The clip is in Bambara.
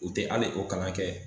U te ali o kalan kɛ